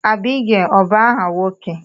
Abigail ọ bu áhà nwoke?